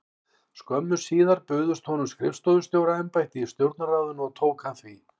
Skömmu síðar bauðst honum skrifstofustjóra- embætti í Stjórnarráðinu og tók hann því.